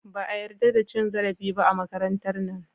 Ba a yadda da cin zarafi ba a makarantar nan.